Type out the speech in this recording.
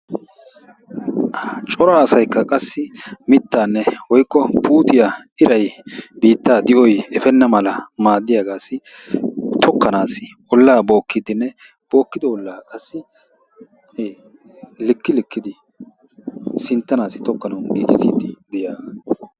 Cora asaykka qassi mittanne woykko puutiya iray biitta di'oy efena mala maaddiyaagassi tokkanassi olla bookidenne bookkido olla qassi likk-likkidi sinttanassi tokkanaw giigissidi de'iyaa...